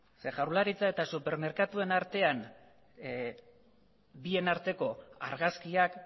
ze jaurlaritza eta supermerkatuen artean bien arteko argazkiak